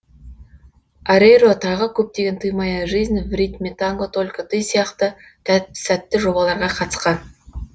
орейро тағы көптеген ты моя жизнь в ритме танго только ты сияқты сәтті жобаларға қатысқан